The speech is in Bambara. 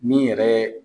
Min yɛrɛ